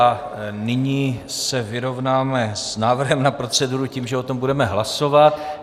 A nyní se vyrovnáme s návrhem na proceduru tím, že o tom budeme hlasovat.